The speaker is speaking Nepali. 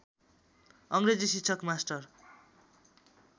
अङ्ग्रेजी शिक्षक मास्टर